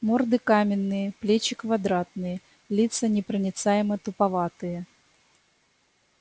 морды каменные плечи квадратные лица непроницаемо-туповатые